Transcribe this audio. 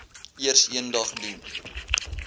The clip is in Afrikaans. eers eendag gedoen